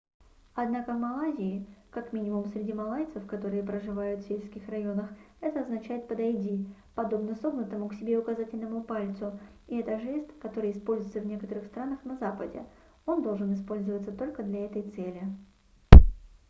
однако в малайзии как минимум среди малайцев которые проживают в сельских районах это означает подойди подобно согнутому к себе указательному пальцу и это жест который используется в некоторых странах на западе он должен использоваться только для этой цели